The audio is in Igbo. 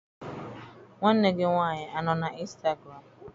Nwanne gị nwanyị anọ na instagụram?